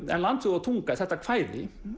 en Land þjóð og tunga þetta kvæði